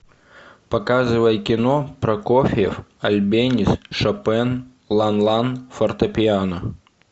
показывай кино прокофьев альбенис шопен лан лан фортепиано